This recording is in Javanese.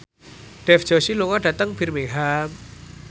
Dev Joshi lunga dhateng Birmingham